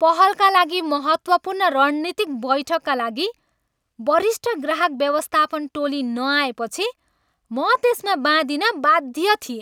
पहलका लागि महत्त्वपूर्ण रणनीतिक बैठकका लागि वरिष्ठ ग्राहक व्यवस्थापन टोली नआएपछि म त्यसमा बाँधिन बाध्य थिएँ।